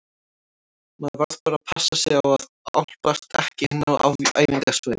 Maður varð bara að passa sig á að álpast ekki inn á æfingasvæðin.